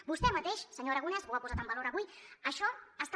vostè mateix senyor aragonès ho ha posat en valor avui això està